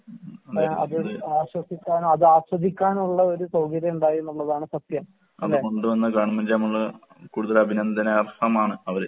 ഉം അത് കൊണ്ടുവന്ന ഗവണ്മെന്റ് നമ്മളെ കൂടുതൽ അഭിനന്ദാർഹമാണ് അവര്.